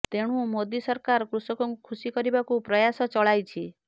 ତେଣୁ ମୋଦୀ ସରକାର କୃଷକଙ୍କୁ ଖସି କରିବାକୁ ପ୍ରୟାସ ଚଳାଇଛି